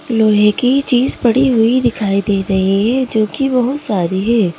लोहे की चीज पड़ी हुई दिखाई दे रही है जो कि बहुत सारी है।